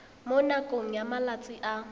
mo nakong ya malatsi a